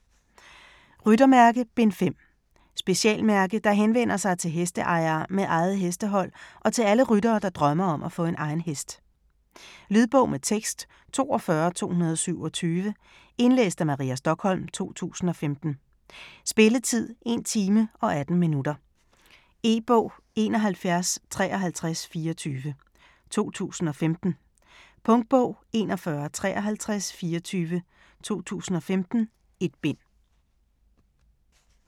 Ryttermærke: Bind 5 Specialmærke, der henvender sig til hesteejere med eget hestehold og til alle ryttere, der drømmer om at få egen hest. Lydbog med tekst 42227 Indlæst af Maria Stokholm, 2015. Spilletid: 1 time, 18 minutter. E-bog 715324 2015. Punktbog 415324 2015. 1 bind.